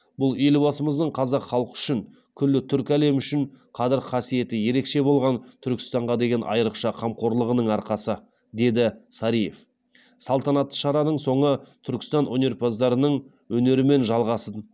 бұл елбасымыздың қазақ халқы үшін күллі түркі әлемі үшін қадір қасиеті ерекше болған түркістанға деген айрықша қамқорлығының арқасы деді сариев салтанатты шараның соңы түркістан өнерпаздарының өнерімен жалғас